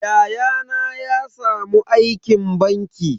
Yayana ya samu aikin banki.